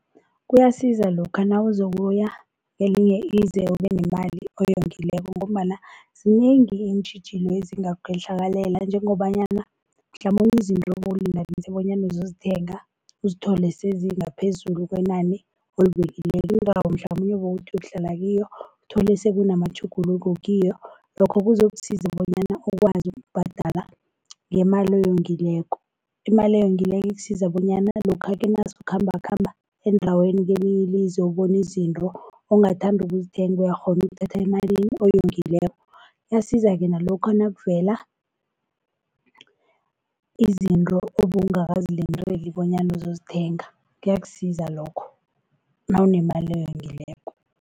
Kuyasiza lokha nawuzokuya kelinye izwe ube nemali oyongileko ngombana zinengi iintjhijilo ezingakwehlakalela njengobanyana mhlamunye izinto bowulinganise bonyana uzozithenga uzithole sezi ngaphezulu kwenani oyibekileko. Indawo mhlamunye bowuthi uyokuhlala kiyo uthole sekunamatjhuguluko kiyo, lokho kuzokusiza bonyana ukwazi ukubhadala ngemali oyongileko. Imali oyongileko ikusiza bonyana lokha-ke nasele ukhambakhamba endaweni kelinye ilizwe ubona izinto ongathanda ukuzithenga uyakghona ukuthatha emalini oyongileko. Iyasiza-ke nalokha nakuvela izinto obowungakazilindeli bonyana uzozithenga kuyakusiza lokho, nawunemali oyongileko.